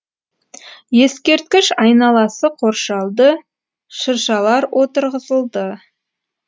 ескерткіш айналасы қоршалды шыршалар отырғызылды